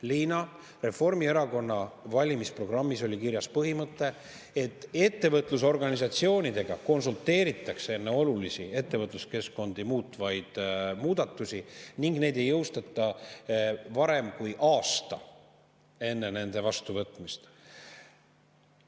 Liina, Reformierakonna valimisprogrammis oli kirjas põhimõte, et ettevõtlusorganisatsioonidega konsulteeritakse enne olulisi ettevõtluskeskkondi muutvaid muudatusi ning neid ei jõustata varem, kui on möödunud aasta nende vastuvõtmisest.